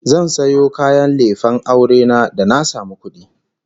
Zan sayo kayan lefen aure na da na samu kudi